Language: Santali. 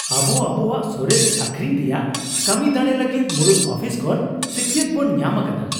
ᱟᱵᱚ ᱟᱵᱚᱣᱟᱜ ᱥᱚᱨᱮᱥ ᱟᱹᱠᱷᱨᱤᱧ ᱨᱮᱭᱟᱜ ᱠᱟᱹᱢᱤ ᱫᱟᱲᱮ ᱞᱟᱹᱜᱤᱫ ᱢᱩᱲᱩᱫ ᱟᱯᱷᱤᱥ ᱠᱷᱚᱱ ᱥᱟᱹᱠᱤᱭᱟᱛ ᱵᱚᱱ ᱧᱟᱢ ᱟᱠᱟᱫᱟ ᱾